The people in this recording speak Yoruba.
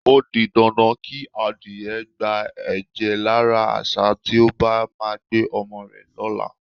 O di dandan kí adìye̩ gba è̩jè̩ lára às̩á tí ó bá máa gbé o̩mo̩ rè̩ ló̩la.